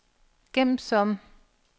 gem som